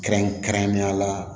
Kɛrɛnkɛrɛnnenya la